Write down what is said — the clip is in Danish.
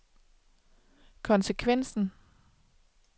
konsekvensen